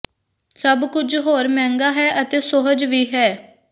ਸਭ ਕੁਝ ਹੋਰ ਮਹਿੰਗਾ ਹੈ ਅਤੇ ਸੁਹਜ ਵੀ ਹੈ